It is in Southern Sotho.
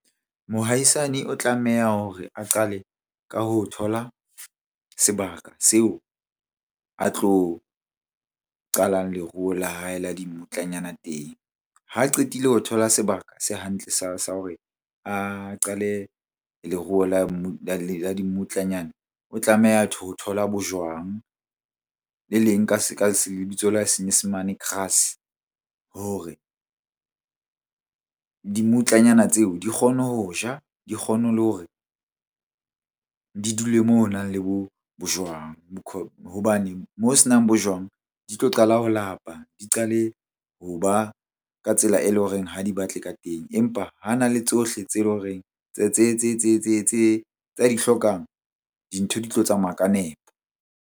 Mohaisane o tlameha hore a qale ka ho thola sebaka seo a tlo qalang leruo la hae la dimmutlanyana teng. Ha qetile ho thola sebaka se hantle sa hore a qale leruo la dimmutlanyana. O tlameha ho thola bojwang le leng senyesemane grass hore dimmutlanyana tseo di kgone ho ja, di kgone le hore di dule moo ho nang le bojwang . Hobane moo ho senang bojwang di tlo qala ho lapa, di qale ho ba ka tsela e leng horeng ha di batle ka teng. Empa ha na le tsohle tse leng horeng tse, tsa di hlokang dintho di tlo tsamaya ka nepo.